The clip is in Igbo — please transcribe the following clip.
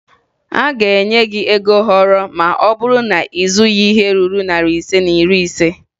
A ga-enye gị ego họrọ ma ọ bụrụ na ị zụghị ihe ruru narị ise na iri ise